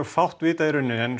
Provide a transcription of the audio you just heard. fátt vitað en